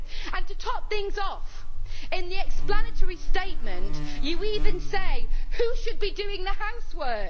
And, to top things off, in the explanatory statement you even say who should be doing the housework.